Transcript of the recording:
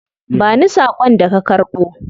Ba ni sakon da ka karbo.